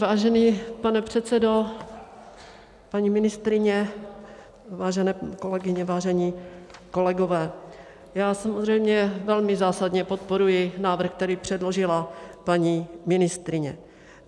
Vážený pane předsedo, paní ministryně, vážené kolegyně, vážení kolegové, já samozřejmě velmi zásadně podporuji návrh, který předložila paní ministryně.